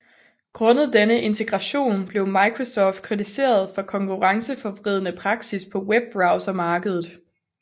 Grundet denne integration blev Microsoft kritiseret for konkurrenceforvridende praksis på webbrowsermarkedet